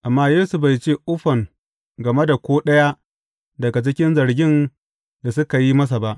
Amma Yesu bai ce uffam game da ko ɗaya daga cikin zargin da suka yi masa ba.